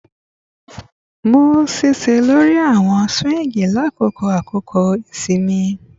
Mu ṣiṣẹ lori awọn swings lakoko akoko isinmi